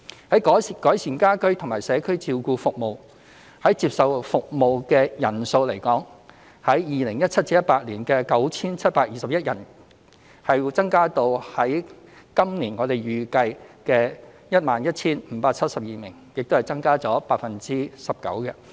至於改善家居及社區照顧服務，就接受服務的人數而言，將會從 2017-2018 年度的 9,721 人增至今年預計的 11,572 人，亦增加 19%。